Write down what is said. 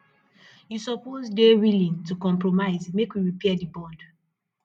you suppose dey willing to compromise make we repair di bond